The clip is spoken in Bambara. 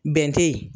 Bɛn tɛ yen